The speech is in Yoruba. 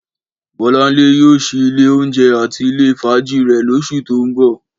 Bọ́láńlé yóò ṣí ilé oúnjẹ àti ilé fàájì rẹ̀ lóṣù tó ń bọ̀